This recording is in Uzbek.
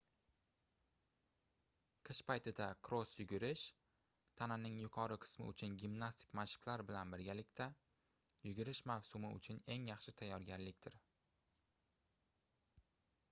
qish paytida kross yugurish tananing yuqori qismi uchun gimnastik mashqlar bilan birgalikda yugurish mavsumi uchun eng yaxshi tayyorgarlikdir